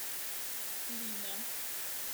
клина